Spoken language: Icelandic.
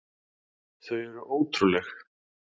Þau eru ótrúleg.